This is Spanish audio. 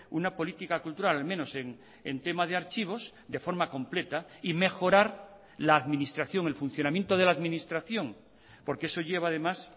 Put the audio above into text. una política cultural al menos en tema de archivos de forma completa y mejorar la administración el funcionamiento de la administración porque eso lleva además